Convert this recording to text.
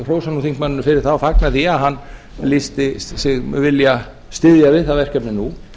hrósa nú þingmanninum fyrir það og fagna því að hann lýsti sínum vilja að styðja við það verkefni nú